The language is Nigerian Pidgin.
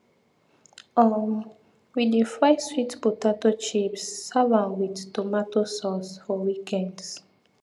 um we dey fry sweet potato chips serve am with tomato sauce for weekends